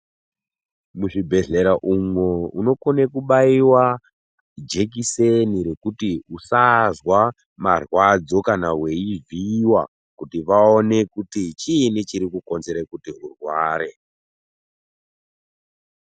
Muzvibhedhlera umwo unokone kubaiwa jekiseni rekuti usazwa marwadzo kana weivhiiwa, kuti vaone kuti chiini chiri kukonzere kuti urware.